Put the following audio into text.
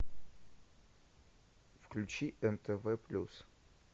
включи нтв плюс